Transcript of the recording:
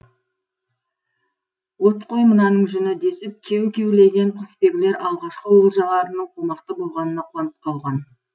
от қой мынаның жүні десіп кеу кеулеген құсбегілер алғашқы олжаларының қомақты болғанына қуанып қалған